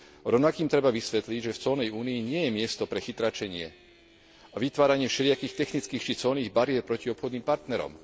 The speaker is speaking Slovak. Rovnako im treba vysvetliť, že v colnej únii nie je miesto pre chytráčenie a vytváranie všelijakých technických či colných bariér proti obchodným partnerom.